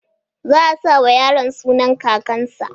Zaa sawa yaron sunan kakan sa